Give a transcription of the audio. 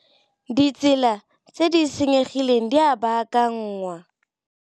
Ditsela tse di senyegileng di a baakanngwa.